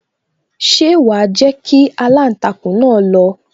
Ṣé wa jẹ́ kí aláǹtakùn náà lọ